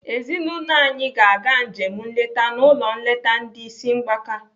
Ezinaụlọ anyị ga-aga njem nleta n'ụlọ nleta ndị ịsị mgbaka.